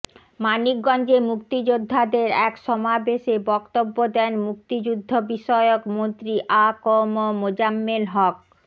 মানিকগঞ্জে মুক্তিযোদ্ধাদের এক সমাবেশে বক্তব্য দেন মুক্তিযুদ্ধবিষয়ক মন্ত্রী আ ক ম মোজাম্মেল হক